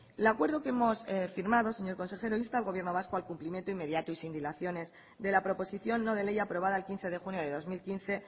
el acuerdo que hemos firmado señor consejero insta al gobierno vasco al cumplimiento inmediato y sin dilaciones de la proposición no de ley aprobada el quince de junio de dos mil quince